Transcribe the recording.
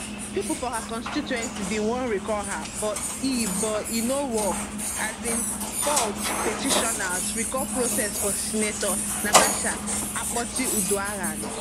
pipo for her constituency bin wan recall her but e but e no work asinec fault petitioners recall process for senator natasha akpotiuduaghan